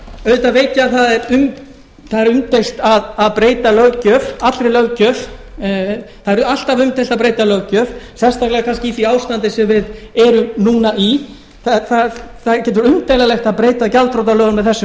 auðvitað veit ég að það er umdeilt að breyta löggjöf allri löggjöf það er alltaf umdeilt að breyta löggjöf sérstaklega kannski í því ástandi sem við erum núna í það getur verið umdeilanlegt að breyta gjaldþrotalögum með þessum